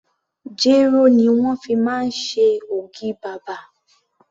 Jéró ni wón fi máa ń ṣe ògì bàbà.